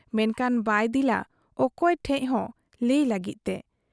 ᱢᱮᱱᱠᱷᱟᱱ ᱵᱟᱭ ᱫᱤᱞ ᱟ ᱚᱠᱚᱭ ᱴᱷᱮᱫ ᱦᱚᱸ ᱞᱟᱹᱭ ᱞᱟᱹᱜᱤᱫ ᱛᱮ ᱾